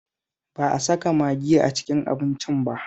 Ba a saka magi a cikin abincin ba